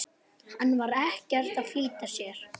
Hann var ekkert að flýta sér.